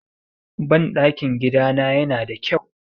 Banɗakin gidana yana da kyau.